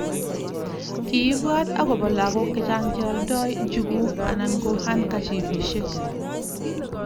Kiibwat agobo lagok chechang cheoldoi njuguk anan ko handkchipisiek